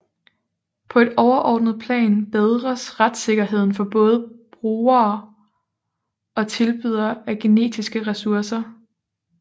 På et overordnet plan bedres retssikkerheden for både brugre og tilbydere af genetiske ressourcer